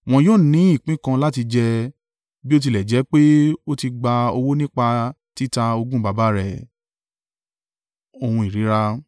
Wọn yóò ní ìpín kan láti jẹ, bí ó tilẹ̀ jẹ́ pé ó ti gba owó nípa títa ogún baba rẹ̀.